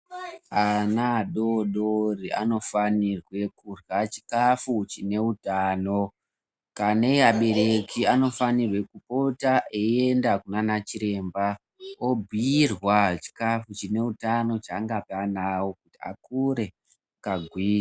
Ana adodori anofanirwa kurya chikafu chinebhutanibkana abereki anofanirwa Kupota eienda kunana chiremba obhiirwa chikafu chehutano changaoa ana awo apone.